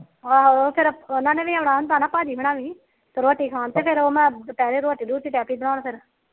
ਆਹੋ ਫਿਰ ਉਹਨਾ ਨੇ ਵੀ ਆਣਾ ਹੁੰਦਾ ਭਾਜੀ ਉਹਨਾ ਵੀ ਰੋਟੀ ਖਾਣ ਫਿਰ ਮੈ ਦੁਪਿਹਰੇ ਰੋਟੀ ਲੱਗ ਪੀ ਸੀ ਬਣਾਣ